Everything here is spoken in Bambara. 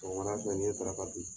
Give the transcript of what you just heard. Sɔgɔmada fɛ n ye daraka dun.